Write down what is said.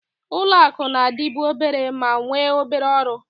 Ụlọ akụ na-adịbu obere ma nwee obere ọrụ.